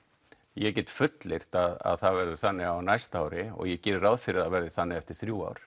ég get fullyrt það verði þannig á næsta ári og ég geri ráð fyrir að það verði þannig eftir þrjú ár